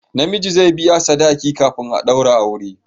Na miji zai biya sadaki kafin a daura aure